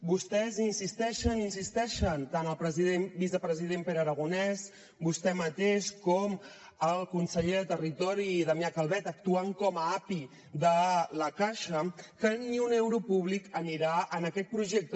vostès insisteixen i insisteixen tant el vicepresident pere aragonès vostè mateix com el conseller de territori damià calvet actuant com a api de la caixa que ni un euro públic anirà en aquest projecte